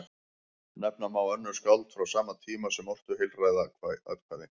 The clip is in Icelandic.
Nefna má önnur skáld frá sama tíma sem ortu heilræðakvæði.